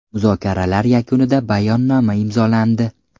Muzokaralar yakunida bayonnoma imzolandi.